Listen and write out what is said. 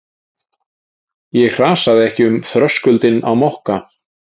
Ég hrasaði ekki um þröskuldinn á Mokka.